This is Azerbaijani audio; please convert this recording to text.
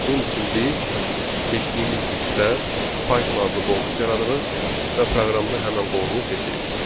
Bunun üçün biz seçdiyimiz diskdə Python adlı qovluq yaradırıq və proqramda həmən qovluğu seçirik.